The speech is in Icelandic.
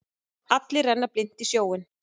Allir renna blint í sjóinn.